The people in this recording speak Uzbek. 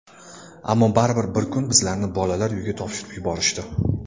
Ammo baribir bir kun bizlarni bolalar uyiga topshirib yuborishdi.